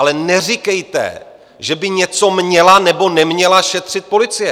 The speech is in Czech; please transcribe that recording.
Ale neříkejte, že by něco měla nebo neměla šetřit policie.